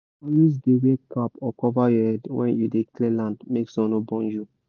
always dey wear cap or cover your head when you dey clear land make sun no burn you